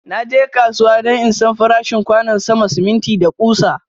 Na je kasuwa don in San farashin kwanon sama, siminti, da kusa.